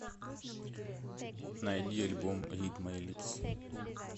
найди альбом рид май липс